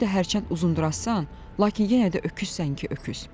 Özü də hərçənd uzunboydurasan, lakin yenə də öküzsən ki, öküz.